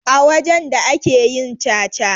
A wajen da ake yin caca.